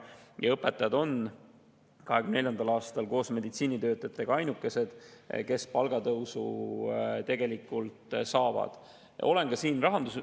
Ja õpetajad on 2024. aastal koos meditsiinitöötajatega ainukesed, kes tegelikult palgatõusu saavad.